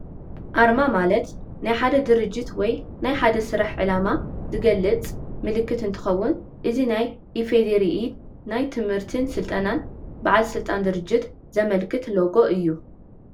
ኣርማ ማለት ናይ ሓደ ድርጅት ወይ ናይ ሓደ ስራሕ ዕላማ ዝገልፅ ምልክት እንትኸውን እዚ ናይ ኢ.ፌ.ዲ.ሪ ናይ ትምህርትን ስልጠናን ባዓል ስልጣን ድርጅት ዘመልክት ሎጎ እዩ፡፡